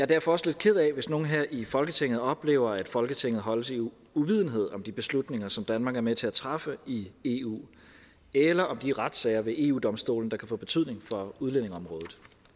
derfor også lidt ked af hvis nogle her i folketinget oplever at folketinget holdes i uvidenhed om de beslutninger som danmark er med til at træffe i eu eller om de retssager ved eu domstolen der kan få betydning for udlændingeområdet